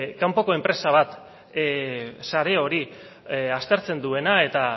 kanpoko enpresa bat sare hori aztertzen duena eta